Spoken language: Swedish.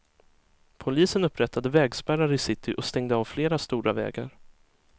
Polisen upprättade vägspärrar i city och stängde av flera stora vägar.